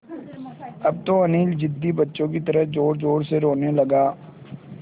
अब तो अनिल ज़िद्दी बच्चों की तरह ज़ोरज़ोर से रोने लगा